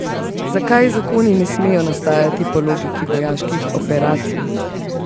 Zakaj zakoni ne smejo nastajati po logiki vojaških operacij?